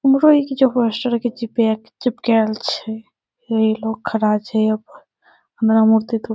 लगा हई कुछो पोस्टर के चिपके चिपकाएल छे। ई लोग खड़ा छे अब हमरा मूर्ति तो --